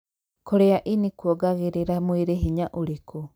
Kũrĩa ini kuongagĩrĩra mwĩrĩ hinya ũrĩkû?